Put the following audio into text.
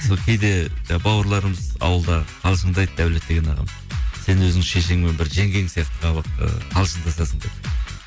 кейде жаңа бауырларымыз ауылдағы қалжыңдайды дәулет деген ағам сен өзің шешеңмен бір жеңгең сияқты ы қалжыңдасасың деп